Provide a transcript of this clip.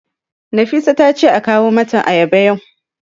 Nafisa ta ce a kawo mata ayaba yau.